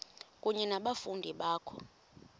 kunye nabafundi bakho